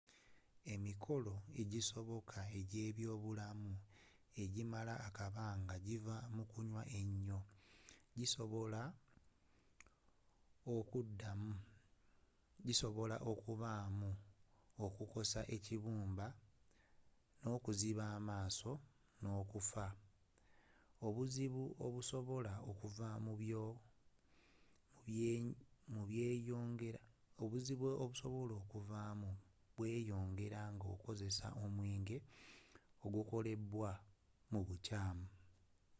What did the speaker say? emikolo egisoboka egy’ebyobulamu egimala akabanga ogiva mu kunywa enyo gisobola okubaamu okukosa ekibumba n’okuziba amaaso n’okuffa.obuzibu obusobola okuvaamu bweyongera nga okozeseza omwenge ogukoledw mu bukyaamu